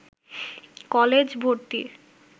college ভর্তি